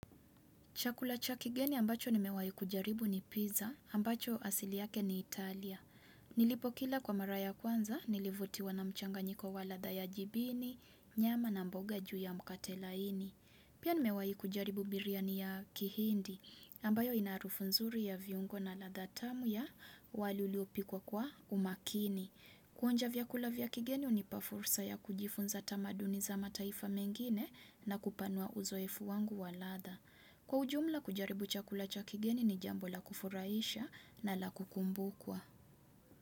Chakula cha kigeni ambacho nimewai kujaribu ni pizza, ambacho asili yake ni Italia. Nilipo kila kwa mara ya kwanza, nilivutiwa na mchanganyiko wa ladha ya jibini, nyama na mboga juu ya mkate laini. Pia nimewai kujaribu biriani ya kihindi, ambayo ina harufu nzuri ya viungo na ladha tamu ya wali uliopikwa kwa umakini. Kuonja vyakula vya kigeni hunipa fursa ya kujifunza tamaduni za mataifa mengine na kupanua uzoefu wangu wa ladha. Kwa ujumla, kujaribu chakula cha kigeni ni jambo la kufuraisha na la kukumbukwa.